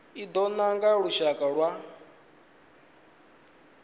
i do nanga lushaka lwa